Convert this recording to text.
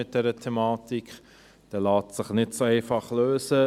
Dieser lässt sich nicht so einfach lösen.